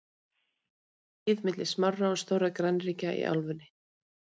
þá voru átök tíð milli smárra og stórra grannríkja í álfunni